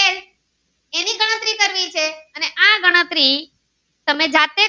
આપેલી છે અને આ ગણતરી તમે જાતે થી